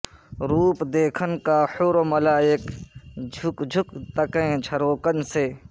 روپ دیکھن کا حوروملائک جھک جھک تکیں جھروکن سے